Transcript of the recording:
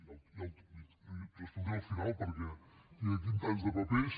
ho respondré al final perquè hi ha aquí tants de papers